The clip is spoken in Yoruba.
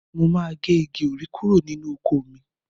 Mo máa gé igi òrí kúrò nínú oko mi